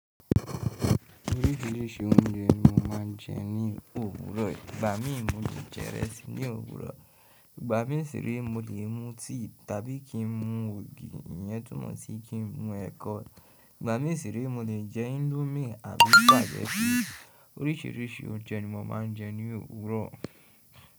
Orísìírísìí oúnjẹ ni mo máà ń jẹ ní òwúrọ̀. Ìgbà mí mo le jẹ ìrẹsì ní òwúrọ̀, ìgbà mí sì rí mo lè mú tíì tàbí kí n mu ògì, ìyẹn túmọ̀ sí kí n mu ẹ̀kọ. Ìgbà mí sì rí mo le jẹ índómì àbí pàjẹ́sí. Orísìírísìí oúnjẹ ni mo máa ń jẹ ní òwúrọ̀.